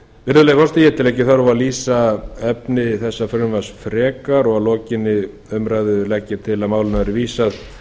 virðulegi forseti ég tel ekki þörf á að lýsa frekar efni þessa frumvarps en að lokinni þessari umræðu legg ég til að málinu verði vísað